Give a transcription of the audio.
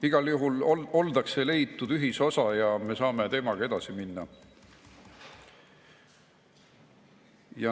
Igal juhul on leitud ühisosa ja me saame teemaga edasi minna.